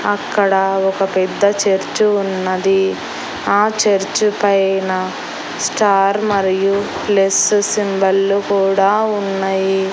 అక్కడ ఒక పెద్ద చర్చు ఉన్నది ఆ చర్చు పైన స్టార్ మరియు ప్లస్ సింబల్లు కూడా ఉన్నయి.